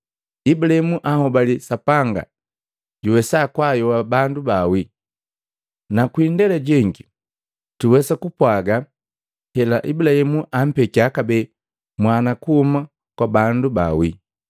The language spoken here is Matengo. Ibulaimu anhobali Sapanga juwesa kwaayoa bandu bawii; na kwi indela jengi tuwesa nu ku kupwaga hela Ibulaimu ampekia kabee mwana kuhuma kwa bandu bawii.